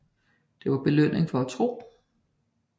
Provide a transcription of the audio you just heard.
Det var belønningen for at tro